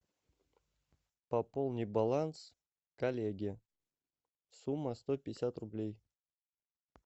пополни баланс коллеге сумма сто пятьдесят рублей